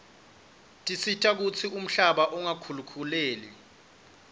tisita kutsi umhlaba ungakhukhuleki